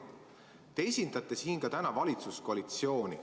Te esindate siin täna ka valitsuskoalitsiooni.